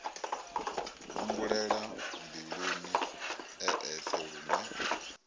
humbulela mbiluni e eṱhe lune